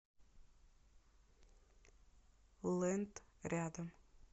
лэнд рядом